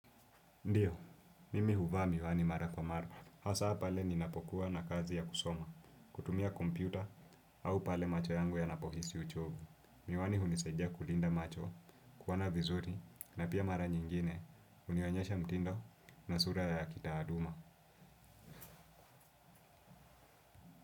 Ndio, mimi huvaa miwani mara kwa mara. Hasa pale ninapokuwa na kazi ya kusoma, kutumia kompyuta au pale macho yangu yanapohisi uchovu. Miwani hunisaidia kulinda macho, kuona vizuri na pia mara nyingine, hunionyesha mtindo na sura ya kitaaluma.